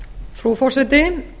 frú forseti